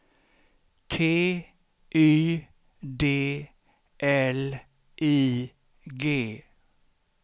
T Y D L I G